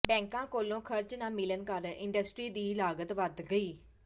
ਬੈਂਕਾਂ ਕੋਲੋਂ ਖਰਚ ਨਾ ਮਿਲਣ ਕਾਰਨ ਇੰਡਸਟਰੀ ਦੀ ਲਾਗਤ ਵਧ ਗਈ